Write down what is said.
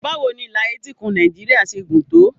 Báwo ni ìlà etíkun Nàìjíríà ṣe gùn tó?